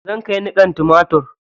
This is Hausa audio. Zan kai niƙan tumatir.